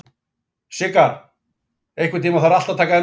Sigarr, einhvern tímann þarf allt að taka enda.